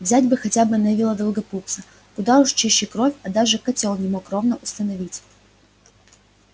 взять бы хотя бы невилла долгопупса куда уж чище кровь а даже котёл не мог ровно установить